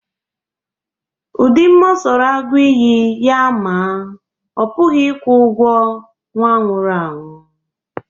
Ụdị mma ọ sọrọ agụ iyi ya maa, ọ pụghị ịkwụ ụgwọ nwa nwụrụ anwụ.